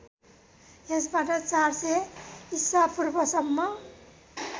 यसबाट ४०० ईशापूर्वसम्म